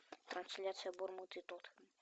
трансляция бормуд и тоттенхэм